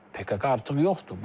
PKK artıq yoxdur.